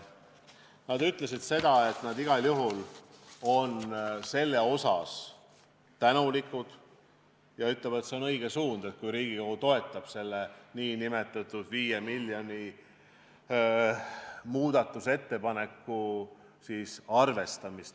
Nad ütlesid, et nad igal juhul on selle eest tänulikud, ja nad ütlesid, et see on õige suund, kui Riigikogu toetab nn 5 miljoni muudatusettepaneku arvestamist.